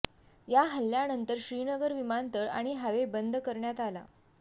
या हल्ल्यानंतर श्रीनगर विमानतळ आणि हायवे बंद करण्यात आला